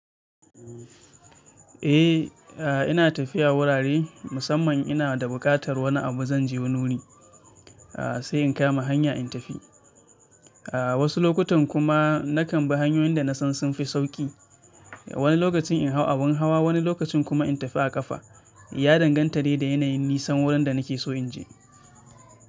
Eh, a ina tafiya wurare musamman ina da buƙatar wani abu zan je wani wuri. A sai in kama hanya in tafi. A wasu lokutan kuma, nakan bi hanyoyin da nasan sun fi sauƙi. Wani lokacin in hau abin hawa, wani lokacin kuma in tafi a ƙafa. Ya danganta dai da yanayin nisan wurin da nake so in je.